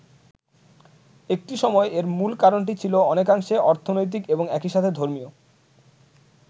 একটি সময় এর মূল কারণটি ছিল অনেকাংশে অর্থনৈতিক এবং একই সাথে ধর্মীয়।